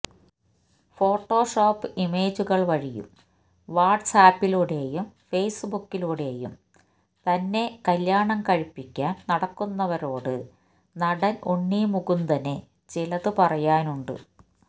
Photoshop ഇമേജുകള് വഴി വാട്ട്സ് ആപ്പിലൂടെയും ഫേസ്ബുക്കിലൂടെയും തന്നെ കല്യാണം കഴിപ്പിക്കാന് നടക്കുന്നവരോട് നടന് ഉണ്ണി മുകുന്ദന് ചിലത് പറയാനുണ്ട്